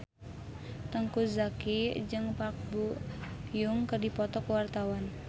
Teuku Zacky jeung Park Bo Yung keur dipoto ku wartawan